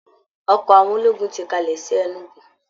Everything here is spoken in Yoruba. Ọkọ̀ àwọn ológùn ti kalẹ̀ sí Enugu